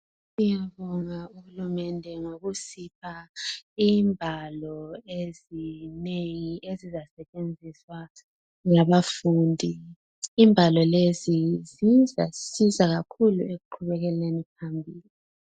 Siyabonga uhulumende ngokusipha ibhalo ezinengi ezisasetshenziswa ngabafundi. Ibhalo lezi zizasisiza kakhulu ekuqhubelekeni phambili.